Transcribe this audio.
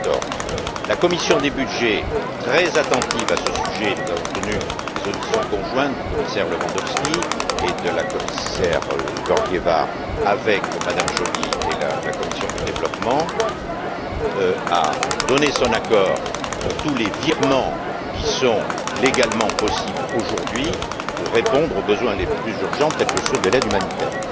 2014. La commission des budgets, très attentive à ce sujet nous avons tenu des auditions conjointes du commissaire Lewandowskiet de la commissaireGeorgieva avec MmeJoly et la commission du développement a donné son accord pour tous les virements qui sont légalement possibles aujourd'hui pour répondre aux besoins les plus urgents tels que ceux de l'aide humanitaire.